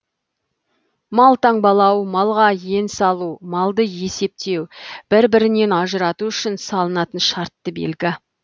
мал таңбалау малға ен салу малды есептеу бір бірінен ажырату үшін салынатын шартты белгі